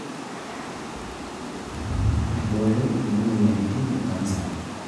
aiboyo inkulie moyaritin ecanser.